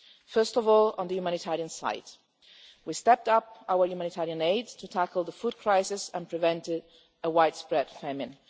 First of all, on the humanitarian side, we stepped up our humanitarian aid to tackle the food crisis and prevent a widespread famine.